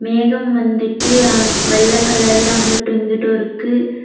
மேகம் வந்துட்டு அங் வெள்ளை கலர்ல அங்குட்டும் இங்குட்டும் இருக்கு.